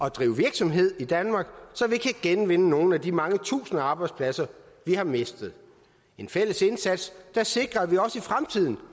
at drive virksomhed i danmark så vi kan genvinde nogle af de mange tusinder af arbejdspladser vi har mistet en fælles indsats der sikrer at vi også i fremtiden